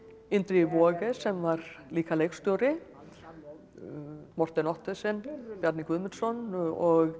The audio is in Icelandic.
Indriði Waage sem var líka leikstjóri Ottesen Bjarni Guðmundsson og